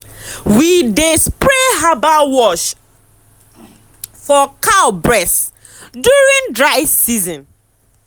we dey spray herbal wash for cow bress during dry season.